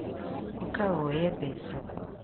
ũka wũye mbeca